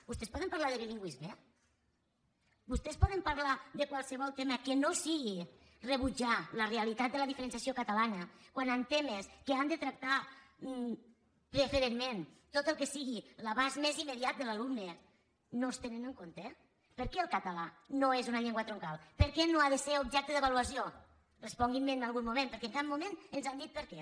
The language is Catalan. vostès poden parlar de bilingüisme vostès poden parlar de qualsevol tema que no sigui rebutjar la realitat de la diferenciació catalana quan temes que han de tractar preferentment tot el que sigui l’abast més immediat de l’alumne no els tenen en compte per què el català no és una llengua troncal per què no ha de ser objecte d’avaluació responguin me en algun moment perquè en cap moment ens han dit per què